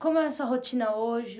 Como é a sua rotina hoje?